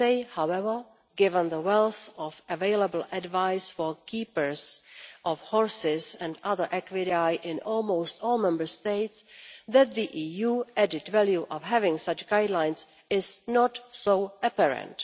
However, given the wealth of available advice for keepers of horses and other equidae in almost all Member States, I would say that the EU added value of having such guidelines is not so apparent.